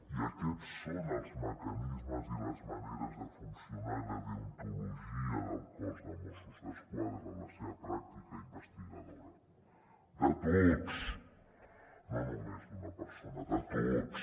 i aquests són els mecanismes i les maneres de funcionar i la deontologia del cos de mossos d’esquadra en la seva pràctica investigadora de tots no només d’una persona de tots